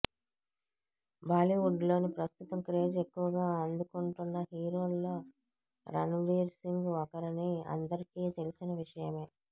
బాలీవుడ్ లో ప్రస్తుతం క్రేజ్ ఎక్కువగా అందుకుంటోన్న హీరోల్లో రన్ వీర్ సింగ్ ఒకరని అందరికి తెలిసిన విషయమే